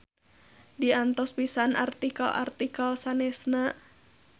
Diantos pisan artikel-artikel sanesna.